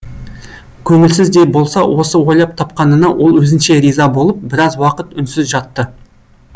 көңілсіз де болса осы ойлап тапқанына ол өзінше риза болып біраз уақыт үнсіз жатты